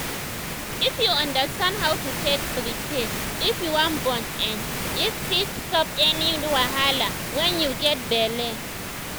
if you understand how to take prepare if you wan born[um]if fit stop any wahala wen u get belle